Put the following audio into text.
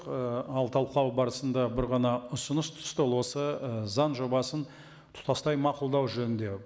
ы ал талқылау барысында бір ғана ұсыныс түсті ол осы ы заң жобасын тұтастай мақұлдау жөнінде